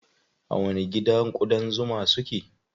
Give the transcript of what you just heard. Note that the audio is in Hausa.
A wani gida ƙudan zuman su ke?